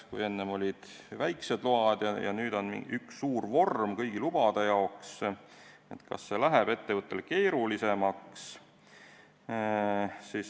Kui enne olid eraldi load ja nüüd on mingi üks suur vorm kõigi lubade jaoks, siis kas see läheb ettevõttele keerulisemaks?